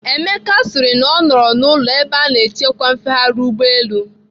Emeka sịrị na ọ nọrọ n'ụlọ ebe a na-achịkwa mfegharị ụgbọelu.